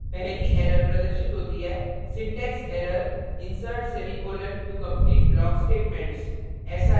पहली error प्रदर्शित होती है syntax error insert semicolon to complete block statements